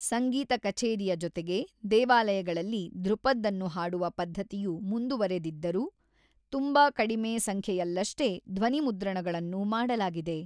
ಸಂಗೀತ ಕಛೇರಿಯ ಜೊತೆಗೆ, ದೇವಾಲಯಗಳಲ್ಲಿ ಧ್ರುಪದ್‌ಅನ್ನು ಹಾಡುವ ಪದ್ಧತಿಯು ಮುಂದುವರೆದಿದ್ದರೂ, ತುಂಬಾ ಕಡಿಮೆ ಸಂಖ್ಯೆಯಲ್ಲಷ್ಟೇ ಧ್ವನಿಮುದ್ರಣಗಳನ್ನು ಮಾಡಲಾಗಿದೆ.